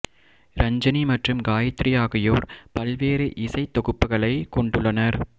இரஞ்சனி மற்றும் காயத்ரி ஆகியோர் பல்வேறு இசைத் தொகுப்புகளை கொண்டுள்ளனர்